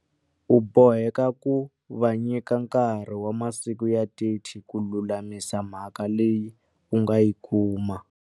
U boheka ku va nyika nkarhi wa masiku ya 30 ku lulamisa mhaka leyi u nga yi kuma.